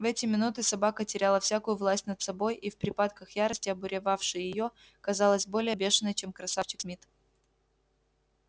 в эти минуты собака теряла всякую власть над собой и в припадках ярости обуревавшей её казалась более бешеной чем красавчик смит